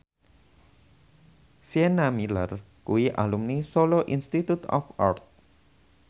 Sienna Miller kuwi alumni Solo Institute of Art